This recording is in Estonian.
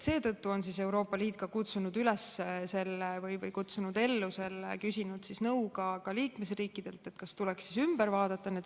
Seetõttu on Euroopa Liit küsinud nõu ka liikmesriikidelt, kas need säästlikkuse kriteeriumid tuleks ümber vaadata.